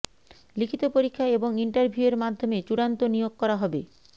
লিখিত পরীক্ষা এবং ইন্টারভিউয়ের মাধ্যমে চূড়ান্ত নিয়োগ করা হবে